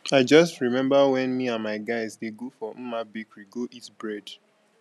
i just remember wen me and my guys dey go for mma bakery go eat bread